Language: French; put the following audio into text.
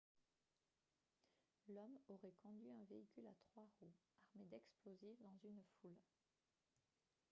l'homme aurait conduit un véhicule à trois roues armé d'explosifs dans une foule